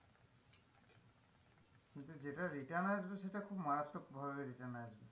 কিন্তু যেটা return আসবে সেটা খুব মারাত্মক ভাবে return আসবে,